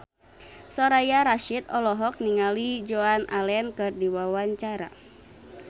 Soraya Rasyid olohok ningali Joan Allen keur diwawancara